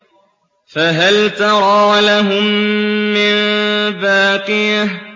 فَهَلْ تَرَىٰ لَهُم مِّن بَاقِيَةٍ